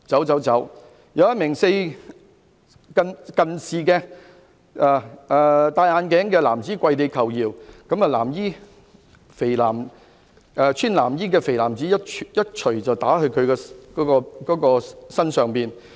"此外，一名配戴眼鏡的男子跪地求饒，然後有身穿藍衣的肥胖男子一拳打在該男子身上。